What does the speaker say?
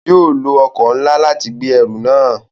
Òun yóò lo ọkọ nlá láti gbé ẹrù náà